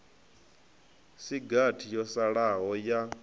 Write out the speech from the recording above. si gathi yo salaho ya